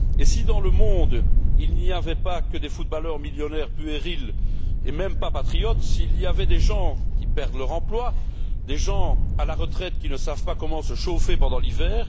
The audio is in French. Et si, dans le monde, il n'y avait pas que des footballeurs millionnaires puérils et même pas patriotes, s'il y avait des gens qui perdent leur emploi, des gens à la retraite qui ne savent pas comment se chauffer pendant l'hiver?